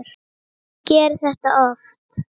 Ég geri þetta oft.